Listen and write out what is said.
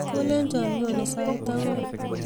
Kolecho nyonii sait ang'wan